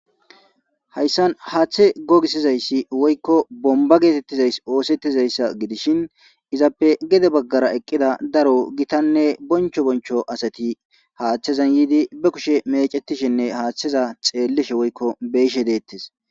hayssan haaththe gogisizayssi woykko bomba geetettizays oosettizayssa gidishin izappe gede baggara eqqida daro gitanne boncho boncho asati haaththezan yiidi be kushe mecetishinne haaththeza xeellishe woykko beyishe deettes